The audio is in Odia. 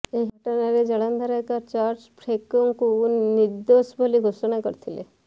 ଏହି ଘଟଣାରେ ଜଳନ୍ଧର ଏକ ଚର୍ଚ୍ଚ ଫ୍ରେକୋଙ୍କୁ ନିର୍ଦୋଶ ବୋଲି ଘୋଷଣା କରିଥିଲା